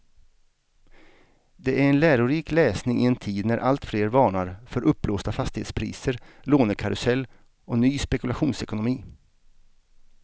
Det är en lärorik läsning i en tid när alltfler varnar för uppblåsta fastighetspriser, lånekarusell och ny spekulationsekonomi.